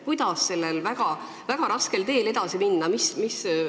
Kuidas sellel väga raskel teel edasi minna?